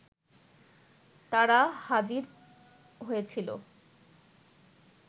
তারা হাজির হয়েছিল